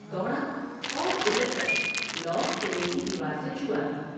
دوڑ ا اور اچک کر لوح قلعے کی دیوار سے چھوا دی ۔